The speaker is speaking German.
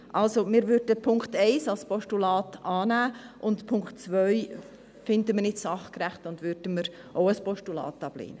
Also: Wir würden den Punkt 1 als Postulat annehmen, den Punkt 2 finden wir nicht sachgerecht und würden ihn auch als Postulat ablehnen.